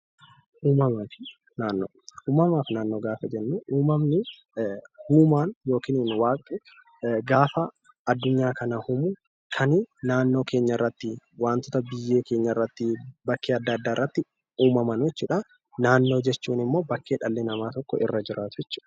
Uumamaa fi Naannoo Uumamaa fi naannoo gaafa jennuu uumaan yookiin Waaqni gaafa addunyaa kana uumu kan naannoo keenya irratti wantoota biyyee keenya irratti bakkee adda addaa irratti uumaman jechuu dha. Naannoo jechuun immoo bakkee dhalli namaa tokko irra jiraatu jechuu dha.